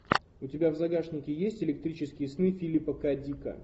у тебя в загашнике есть электрические сны филипа к дика